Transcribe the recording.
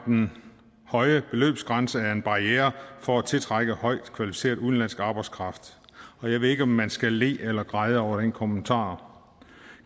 den høje beløbsgrænse er en barriere for at tiltrække højt kvalificeret udenlandsk arbejdskraft jeg ved ikke om man skal le eller græde over den kommentar